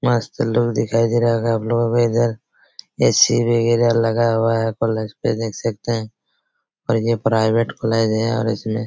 मस्त लोग दिखाई दे रहा होगा आप लोगो को इधर ए.सी वैगेरा लगा हुआ हैं पलज पे देख सकते हैं और ये प्राइवेट कॉलेज हैं और इसमें--